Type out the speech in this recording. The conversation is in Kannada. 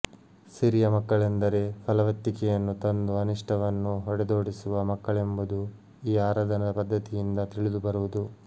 ಸಿರಿಯ ಮಕ್ಕಳೆಂದರೆ ಫಲವತ್ತಿಕೆಯನ್ನು ತಂದು ಅನಿಷ್ಟವನ್ನು ಹೊಡೆದೋಡಿಸುವ ಮಕ್ಕಳೆಂಬುದು ಈ ಆರಾಧನಾ ಪದ್ಧತಿಯಿಂದ ತಿಳಿದು ಬರುವುದು